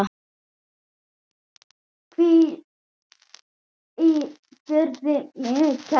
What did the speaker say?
Hvíl í friði, minn kæri.